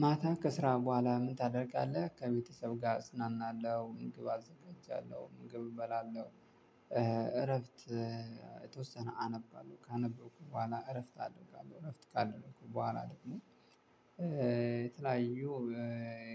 ማታ ከስራ በኃላ ምን ታደርጋለ ከቤተሰብ ጋር እዝናናለው ምግብ አዘጋጃለው ምግብ እበላለው። እረፍት የተወሰነ አነባለሁ ካነበብኩ በኋላ እረፍት አደርጋለሁ እረፍት ካደረኩ በኋላ ደግሞ። የተለያዩ